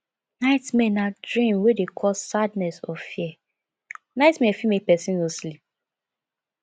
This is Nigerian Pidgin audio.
nightmare na dream wey dey cause sadness or fear nightmare fit make person no sleep